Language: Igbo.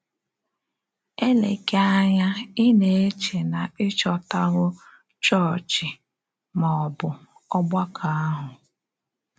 Èlèghị ànyà ị́ na-eche na ị́ chòtàwò chọ́ọ̀chị, mà ọ bụ ọ̀gbàkọ̀ àhụ̀.